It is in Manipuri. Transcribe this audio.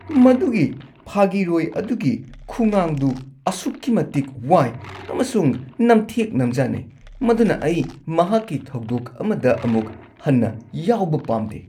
ꯃꯗꯨꯒꯤ ꯐꯥꯒꯤꯔꯣꯏ ꯑꯗꯨꯒꯤ ꯈꯨꯉꯥꯡꯗꯨ ꯑꯁꯨꯛꯀꯤ ꯃꯇꯤꯛ ꯋꯥꯏ ꯑꯃꯁꯨꯡ ꯅꯝꯊꯦꯛ ꯅꯝꯖꯥꯅꯩ ꯃꯗꯨꯅ ꯑꯩ ꯃꯍꯥꯛꯀꯤ ꯊꯧꯗꯣꯛ ꯑꯃꯗ ꯑꯃꯨꯛ ꯍꯟꯅ ꯌꯥꯎꯕ ꯄꯥꯝꯗꯦ꯫